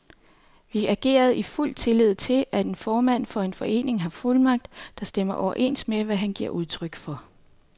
Vi agerede i fuld tillid til, at en formand for en forening har fuldmagt, der stemmer overens med, hvad han giver udtryk for.